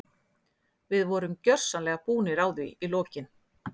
Við vorum gjörsamlega búnir á því í lokin.